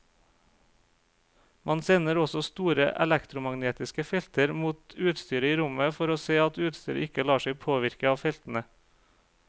Man sender også store elektromagnetiske felter mot utstyret i rommet for å se at utstyret ikke lar seg påvirke av feltene.